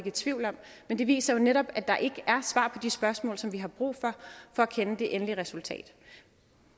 i tvivl om men det viser jo netop at der ikke er svar på de spørgsmål hvilket vi har brug for for at kende det endelige resultat